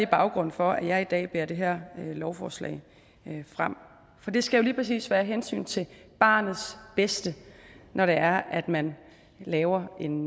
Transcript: baggrunden for at jeg i dag bærer det her lovforslag frem for det skal jo lige præcis være hensynet til barnets bedste når det er at man laver en